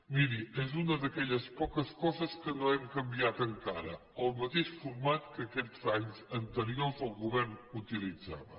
miri és una d’aquelles poques coses que no hem canviat encara el mateix format que aquests anys anteriors el govern utilitzava